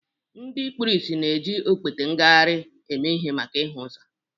Ndị kpuru ìsì na-eji okpete ngagharị eme ihe maka ịhụ ụzọ